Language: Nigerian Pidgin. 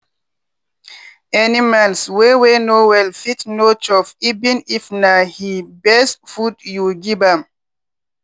animals wey wey no well fit no chopeven if na he best food you give am.